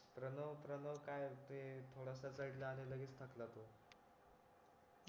प्रणव प्रणव काय ते तो थोडासा चढला आणि लगेच थकला तो